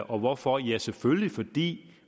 og hvorfor jo selvfølgelig fordi